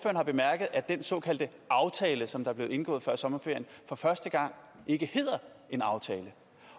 har bemærket at den såkaldte aftale som blev indgået før sommerferien for første gang ikke hedder en aftale